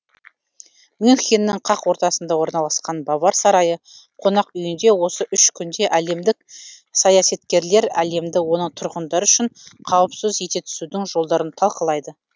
мюнхеннің қақ ортасында орналасқан бавар сарайы қонақүйінде осы үш күнде әлемдік саясаткерлер әлемді оның тұрғындары үшін қауіпсіз ете түсудің жолдарын талқылайды